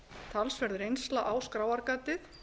talsverð reynsla á skráargatið